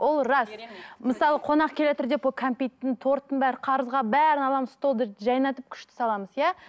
ол рас мысалы қонақ деп ол кәмпиттің торттың бәрі қарызға бәрін аламыз столды жайнатып күшті саламыз иә